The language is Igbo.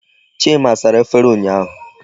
Chima sara efere ụnyaahụ.